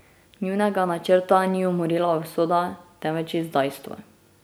Njunega načrta ni umorila usoda, temveč izdajstvo.